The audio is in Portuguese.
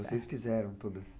Vocês fizeram todas.